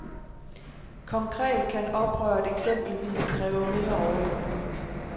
Konkret kan oprøret eksempelvis kræve mere orlov.